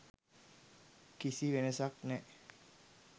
කිසි වෙනසක් නෑ